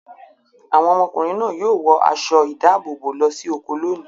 Àwọn ọmọkùnrin náà yóò wọ aṣọ-ìdáàbòbò lọ sí oko lónìí.